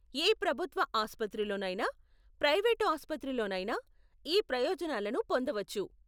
ఏ ప్రభుత్వ ఆసుపత్రిలోనైనా, ప్రైవేటు ఆసుపత్రిలోనైనా ఈ ప్రయోజనాలను పొందవచ్చు.